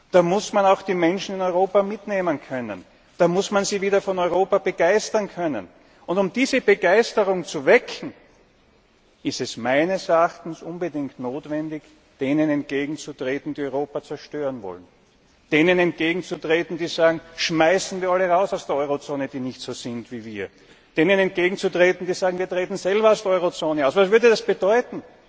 Da muss man auch die Menschen in Europa mitnehmen können, da muss man sie wieder von Europa begeistern können. Um diese Begeisterung zu wecken, ist es meines Erachtens unbedingt notwendig, denen entgegenzutreten, die Europa zerstören wollen, denen entgegenzutreten, die sagen, schmeißen wir alle raus aus der Eurozone, die nicht so sind wie wir, denen entgegenzutreten, die sagen wir treten selber aus der Eurozone aus. Was würde das bedeuten?